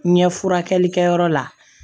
Ɲɛ furakɛlikɛyɔrɔ la